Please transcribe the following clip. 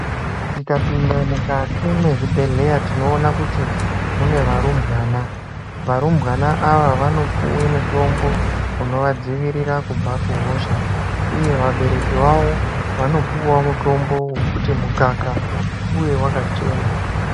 Tikapinda mukati mwezvibhedheya tinoona kuti mune varumbwana. Varumbwana ava vanopuwe mutombo unovadzivirira kubva kuhosha uye vabereki vavo vanopuwawo mutombo wekuti mukaka uve wakachena.